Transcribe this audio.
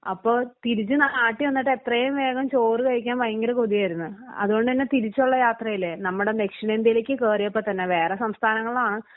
അപ്പോ തിരിച്ച് നാട്ടിൽ വന്നിട്ട് എത്രയും വേഗം ചോറ് കഴിക്കാൻ ഭയങ്കര കൊതിയായിരുന്നു അതുകൊണ്ടുതന്നെ തിരിച്ചുള്ള യാത്രയില് നമ്മുടെ ദക്ഷിണേന്ത്യയിലേക്ക് കയറിയപ്പോ തന്നെ വേറെ സംസ്ഥാനങ്ങളാ